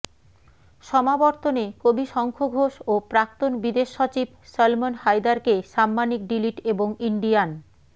সমাবর্তনে কবি শঙ্খ ঘোষ ও প্রাক্তন বিদেশসচিব সলমন হায়দারকে সাম্মানিক ডিলিট এবং ইন্ডিয়ান